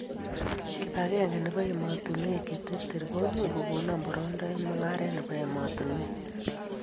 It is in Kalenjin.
Kipakenge nebo emotunuek cheterter komuchu kokon boroindo eng' mung'aret nebo emotunuek